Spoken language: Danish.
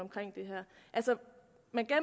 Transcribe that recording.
altså